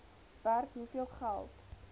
werk hoeveel geld